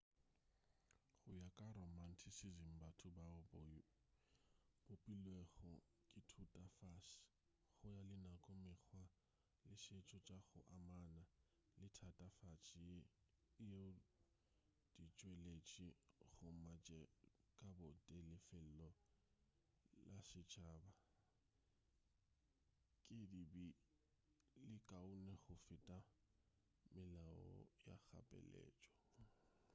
go ya ka romanticism batho bao ba bopilwego ke thutafase go ya le nako mekgwa le setšo tša go amana le thatafase yeo di tšweletši gomme tše ka bo tee le lefelo la setšhaba di be di le kaone go feta melao ya kgapeletšo